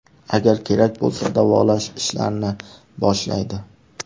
Agar kerak bo‘lsa, davolash ishlarini boshlaydi.